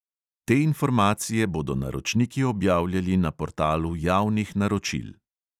Te informacije bodo naročniki objavljali na portalu javnih naročil.